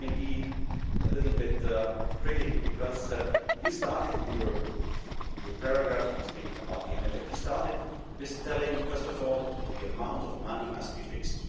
let me be a little bit critical because you started in your paragraph on speaking about the MFF, you started with saying first of all the amount of money must be fixed.